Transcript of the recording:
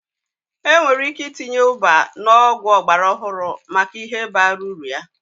Enwere ike itinye ubwa na ọgwụ ọgbara ọhụrụ maka ihe bara uru ya.